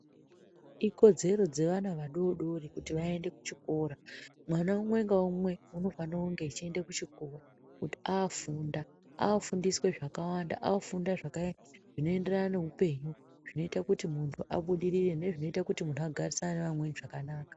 Ikodzero dzevana vadori dori kuti vaende kuchikora. Mwana umwe ngaumwe unofanire kunge achiende kuchikora kuti afunda. Afunda zvakawanda, afunda zvinoenderana neupenyu, zvinoita kuti muntu abudirire nezvinoita kuti muntu agarisane nevamweni zvakanaka.